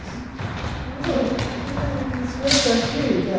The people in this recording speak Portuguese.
O eh o senhor está aqui?